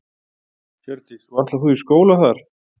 Hjördís: Og ætlar þú í skóla þar?